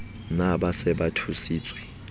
na ba se ba thusitswe